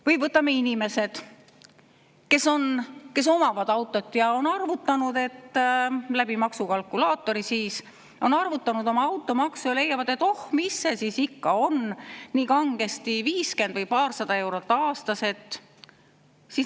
Või võtame inimesed, kes omavad autot ja on maksukalkulaatori abil arvutanud oma automaksu ja leiavad, et oh, mis see siis ikka on nii kangesti, vaid 50 või paarsada eurot aastas.